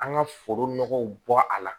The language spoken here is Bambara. An ka foro nɔgɔw bɔ a la